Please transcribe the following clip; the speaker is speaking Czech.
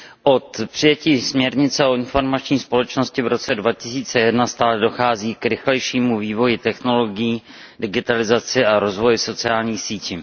Od přijetí směrnice o informační společnosti v roce 2001 stále dochází k rychlejšímu vývoji technologií, digitalizaci a rozvoji sociálních sítí.